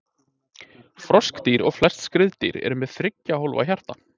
Froskdýr og flest skriðdýr eru með þriggja hólfa hjarta.